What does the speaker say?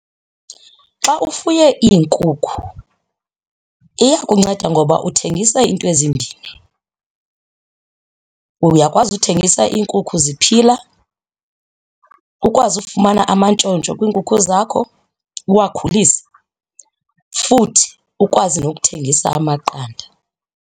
Xa ufuye iinkukhu iyakunceda ngoba uthengisa into ezimbini, uyakwazi uthengisa iinkukhu ziphila, ukwazi ufumana amantshontsho kwiinkukhu zakho uwakhulise futhi ukwazi nokuthengisa amaqanda.